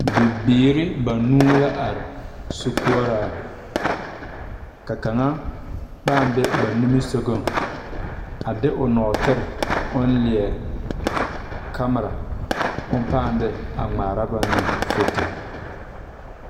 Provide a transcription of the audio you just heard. Bibiiri banu la are sokoɔraa ka kaŋa paa be ba nimisɔgaŋ a de o nɔɔtere o leɛ kanmire o paa de a ŋmaare ba ne fuuto.